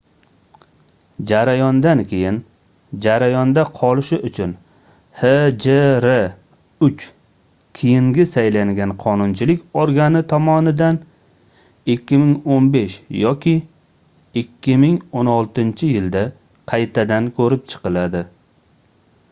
jarayondan keyin jarayonda qolishi uchun hjr-3 keyingi saylangan qonunchilik organi tomonidan 2015 yoki 2016-yilda qaytadan koʻrib chiqiladi